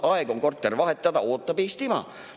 Aeg on korter vahetada, ootab Eestimaa.